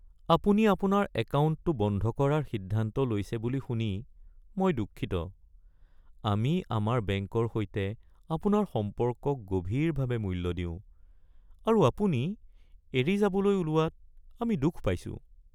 আপুনি আপোনাৰ একাউণ্টটো বন্ধ কৰাৰ সিদ্ধান্ত লৈছে বুলি শুনি মই দুঃখিত। আমি আমাৰ বেংকৰ সৈতে আপোনাৰ সম্পৰ্কক গভীৰভাৱে মূল্য দিওঁ, আৰু আপুনি এৰি যাবলৈ ওলোৱাত আমি দুখ পাইছোঁ।